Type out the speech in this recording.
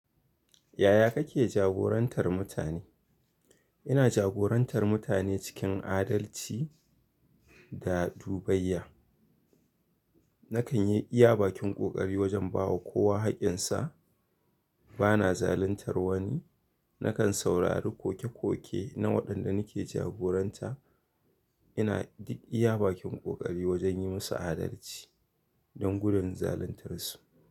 Yaya kake jagorantar mutane? Ina jagorantar mutane cikin adalci AAda dubayya. Nakan yi iya bakin ƙoƙari wajen ba wa kowa haƙƙinsa, ba na zaluntar wani. Nakan saurari koke-koke na waɗanda nake jagoranta. Ina duk iya bakin ƙoƙari wajen yi musu adalci don gudanar zaluntar su.